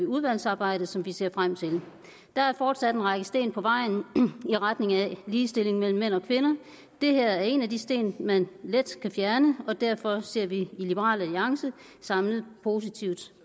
udvalgsarbejdet som vi ser frem til der er fortsat en række sten på vejen i retning af ligestilling mellem mænd og kvinder det her er en af de sten man let kan fjerne og derfor ser vi i liberal alliance samlet positivt